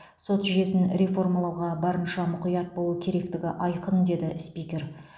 сот жүйесін реформалауға барынша мұқият болу керектігі айқын деді спикер